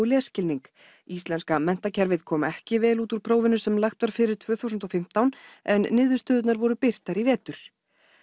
lesskilning íslenska menntakerfið kom ekki vel út úr prófinu sem lagt var fyrir tvö þúsund og fimmtán en niðurstöðurnar voru birtar í vetur